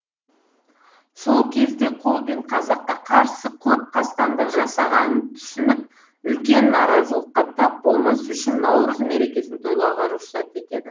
сол кезде колбин қазаққа қарсы көп қастандық жасағанын түсініп үлкен наразылыққа тап болмас үшін наурыз мерекесін тойлауға рұқсат етеді